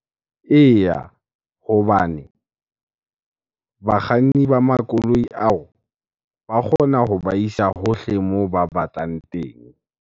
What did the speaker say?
Eya, hobane bakganni ba makoloi ao ba kgona hoba isa hohle moo ba batlang teng.